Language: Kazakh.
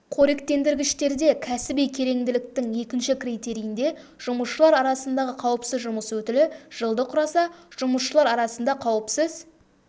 қоректендіргіштерде кәсіби кереңділіктің екінші критерийінде жұмысшылар арасындағы қауіпсіз жұмыс өтілі жылды құраса жұмысшылар арасында қауіпсіз